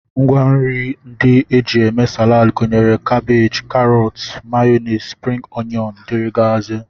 Ngwanri ndị e ji eme Salad gụnyere kabej, karọt, mayọnis, spring oyọn, dg